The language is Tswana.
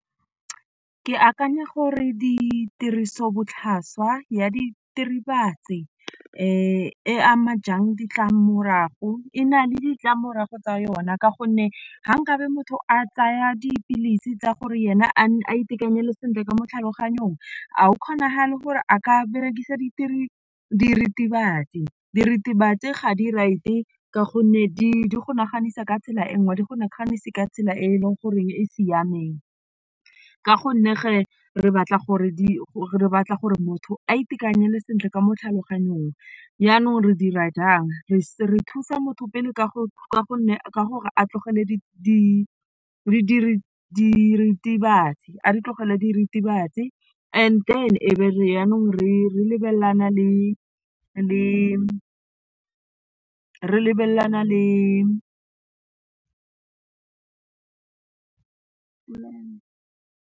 Ke akanya gore ditiriso botlhaswa ya e ama jang ditlamorago e na le ditlamorago tsa yona ka gonne ga nkabe motho a tsaya di dipilisi tsa gore ena a itekanele sentle ka mo tlhaloganyong ga go kgonagale gore a ka berekisa diritibatsi. Diritibatsi ga di right ka gonne di go naganisa ka tsela e nngwe ga di go naganise ka tsela e e leng gore e e siameng ka gonne re batla gore di re batla gore motho a itekanele sentle ka mo tlhaloganyong jaanong re dira jang, re thusa motho pele ka go a tlogele diritibatsi and then e be re jaanong re lebelelana le .